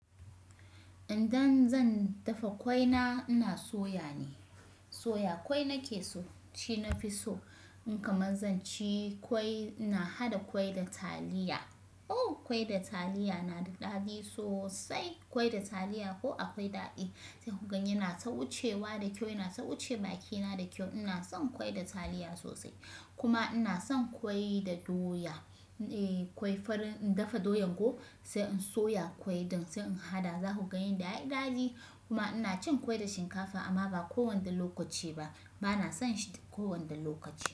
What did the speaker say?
Idan zan dafa kwai na, ina soya ne. Soya kwai nake so, shi nafi so. In kamar zan ci kwai, na haɗa kwai da taliya. Ooh! Kwai da taliya na da daɗi sosai. Kwai da taliya ko akwai daɗi. Sai ku gani ina ta wucewa da kyau, ina ta wuce bakina da kyau. Ina son kwai da taliya sosai kuma ina son kwai da doya. Eeh, kwai farin in dafa doyan ko sai in soya kwai ɗin sai in haɗa za ku ga yanda yayi daɗi. Kuma ina cin kwai da shinkafa amma ba kowane lokaci ba. Ba na son shita kowane lokaci.